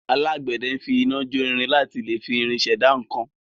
Alágbẹ̀dẹ fi iná jo irin láti lẹ fi irin ṣẹ̀dá nǹkan.